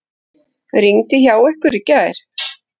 Rigndi hjá ykkur í gær?